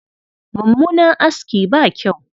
Mummunan aski ba kyau.